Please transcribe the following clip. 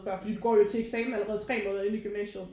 Før fordi du går jo til eksamen allerede tre måneder ind i gymnasiet